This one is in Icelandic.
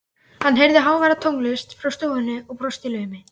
Hann heyrði háværa tónlist frá stofunni og brosti í laumi.